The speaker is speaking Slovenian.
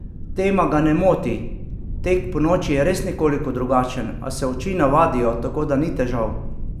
Tema ga ne moti: "Tek ponoči je res nekoliko drugačen, a se oči navadijo, tako da ni težav.